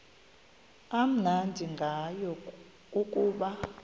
amnandi ngayo kukuba